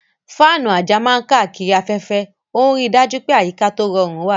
Fáànù àjà máa ń káàkiri afẹ́fẹ́, ó ń rí i dájú pé àyíká tó rọrùn wà.